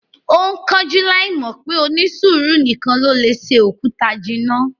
Ó ń kánjú láì mọ̀ pé "onísùúrù nìkan ló lè se òkúta jinná"